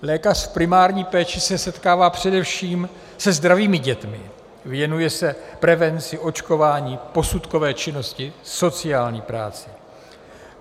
Lékař v primární péči se setkává především se zdravými dětmi, věnuje se prevenci, očkování, posudkové činnosti, sociální práci.